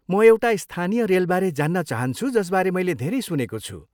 म एउटा स्थानीय रेलबारे जान्न चाहन्छु जसबारे मैले धेरै सुनेको छु।